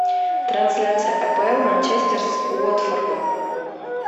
трансляция апл манчестер с уотфордом